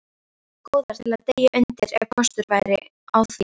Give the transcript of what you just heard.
Góðar til að deyja undir, ef kostur væri á því.